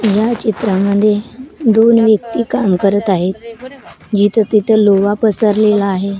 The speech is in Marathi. ह्या चित्रामध्ये दोन व्यक्ती काम करत आहेत जिथं तिथं लोवा पसरलेला आहे.